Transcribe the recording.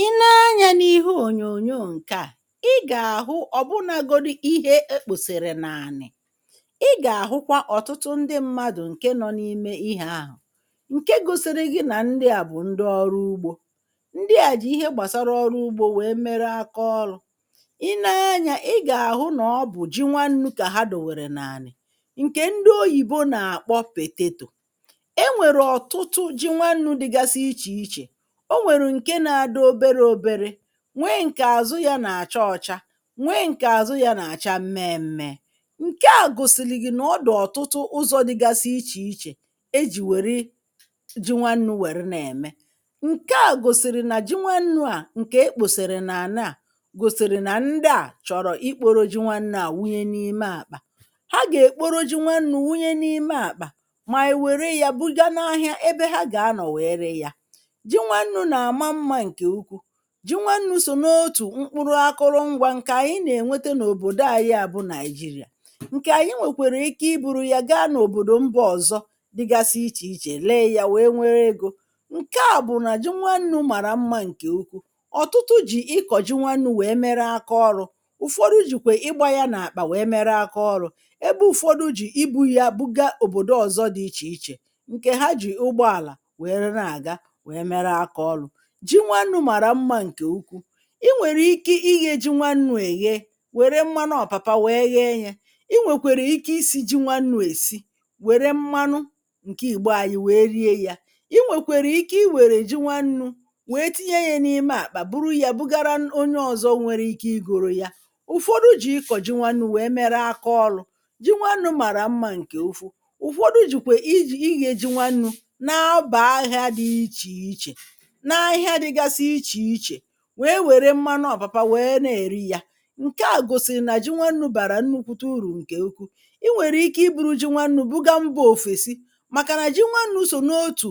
I nee anyā n’ihu ònyòònyò ǹke à ị gà-àhụ ọ̀bụnāgodi ihe e kpòsèrè n’ànị̀ ị gà-àhụkwa ọ̀tụtụ ndị mmadụ̀ ǹke nọ̄ n’ime ihē ahụ̀ ǹke gosịrị ghị nà ndị à bụ̀ ndị ọrụ ugbō ndị à jì ihe gbàra ọrụ ugbō wèe mere akaọlụ̄ I nee anyā ị gà-àhụ nà ọ bụ̀ ji nwannū kà ha dòwèrè n’ànị̀ ǹkè ndị oyìbo nà-àkpọ pètetò e nwèrè ọ̀tụtụ ji nwannū dịgasị ichē ichē o nwèrụ̀ ǹke na-adị oberē oberē nwee ǹkè àzụ yā nà-àcha ọcha nwee ǹkè àzụ yā nà-àcha mmee mmee ǹke à gòsị̀lị̀ ghị nà ọ dị̀ ọ̀tụtụ ụzọ̄ dịgasị ichè ichè e jì wère ji nwannū wère na-ème ǹke à gòsị̀rị̀ nà ji nwannū à ǹkè ekpòsèrè n’ànà à gòsị̀rị̀ nà ndị à chọ̀rọ̀ ikporo ji nwannū à wunye n’ime àkpà ha gà-èkporo ji nwannū wunye n’ime àkpà mà wère yā buga n’ahịa ebe he gà-anọ̀ wèe ree yā ji nwannū nà-àma mmā ǹkè ukwu ji nwannū sò n’otù mkpụrụ akụlụngwā ǹkè ànyị nà-ènwete n’òbòdo anyị à bụ̄ Naijiria ǹkè ànyị nwèkwara ike I buru ya gaa n’òbòdo mba ọzọ dịgasị ichè ichè lee yā wèe nwere egō ǹke à bụ̀ nà ji nwannu màrà mmā ǹkè ukwu ọ̀tụtụ jì ịkọ̀ ji nwannū wèe mere akaọrụ̄ ụ̀fọdụ jìkwà ịgbā ya n’àkpà wèe mere akaọrụ̄ ebe ụfọdụ jì ibū ya buga òbòdo ọzọ dị ichè ichè ǹke ha jì ụgbọàlà were na-àga wèe mere akaọlụ̄ ji nwannū màrà mmā ǹke ukwu I nwèrè ike ighē ji nwannū èghe wère mmanụ ọ̀pàpa wère ghee yē I nwèkwèrè ike isī ji nwannū èsi wère mmanụ ǹke Ìgbò anyị wèe rie yā I nwèkwèrè ike I wère ji nwannū wèe tinye yā n’ime àkpà buru yā bugara onye ọzọ nwereike igōro ya ụ̀fọdụ jì ịkọ̀ ji nwannū wèe mere akaọlụ̄ ji nwannū màrà mmā ǹkè ukwu ụ̀fọdụ jìkwe ij ighē ji nwannū na-abà ahịā dị ichè ichè n’ahịa dịgasị ichè ichè wèe wère mmanụ ọ̀pàpa wèe na-èri yā ǹke à gòsị̀rị̀ nà ji nwannū bàrà nnukwuta ùrù ǹkè ukwu I nwèrèike I buru ji nwannū buga mbā òfèsi màkà nà ji nwannū sò n’otù